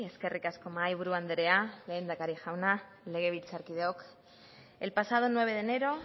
eskerrik asko mahaiburu andrea lehendakari jauna legebiltzarkideok el pasado nueve de enero